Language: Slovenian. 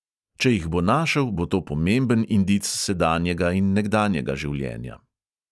Če jih bo našel, bo to pomemben indic sedanjega in nekdanjega življenja.